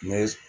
Ne